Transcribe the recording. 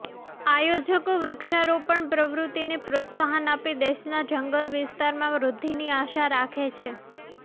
આયોજકો વૃક્ષારોપણ પ્રવૃત્તિને પ્રોત્સાહન આપી દેશના જંગલ વિસ્તારમાં વૃદ્ધિની આશા રાખે છે